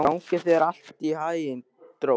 Gangi þér allt í haginn, Drótt.